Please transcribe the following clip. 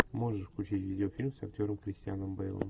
можешь включить видеофильм с актером кристианом бейлом